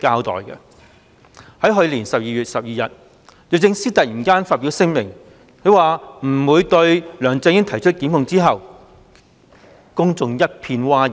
在去年12月12日，律政司司長突然發表聲明，表示不會對梁振英提出檢控後，公眾一片譁然。